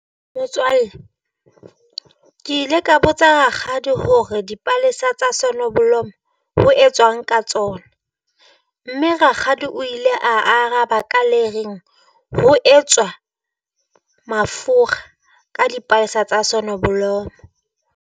Motswalle ke ile ka botsa rakgadi hore dipalesa tsa sonneblom ho etswang ka tsona, mme rakgadi o ile a araba ka le reng ho etswa mafura ka dipalesa tsa sonneblom.